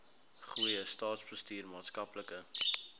goeie staatsbestuur maatskaplike